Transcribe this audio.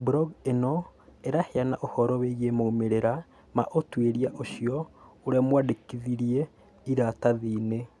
Blog ĩno ĩraheana ũhoro wĩgiĩ maumĩrĩra ma ũtuĩria ũcio ũrĩa mwandĩkithie iratathi-inĩ.